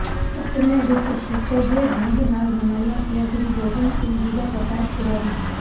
ਪਟਨੇ ਵਿਚ ਸੁਚੱਜੇ ਢੰਗ ਨਾਲ ਮਨਾਇਆ ਗਿਆ ਗੁਰੂ ਗੋਬਿੰਦ ਸਿੰਘ ਜੀ ਦਾ ਪ੍ਰਕਾਸ਼ ਪੁਰਬ